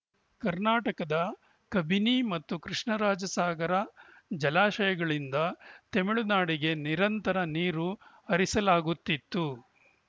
ಕರ್ನಾಟಕದ ಕಬಿನಿ ಮತ್ತು ಕೃಷ್ಣರಾಜ ಸಾಗರ ಜಲಾಶಯಗಳಿಂದ ತಮಿಳುನಾಡಿಗೆ ನಿರಂತರ ನೀರು ಹರಿಸಲಾಗುತ್ತಿದ್ದು